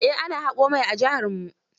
Eh ana haƙo mai a jiharmu.